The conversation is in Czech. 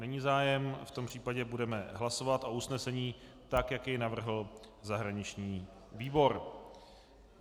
Není zájem, v tom případě budeme hlasovat o usnesení tak, jak jej navrhl zahraniční výbor.